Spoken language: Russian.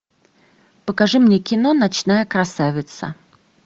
покажи мне кино ночная красавица